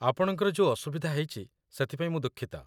ଆପଣଙ୍କର ଯୋଉ ଅସୁବିଧା ହେଇଚି ସେଥିପାଇଁ ମୁଁ ଦୁଃଖିତ ।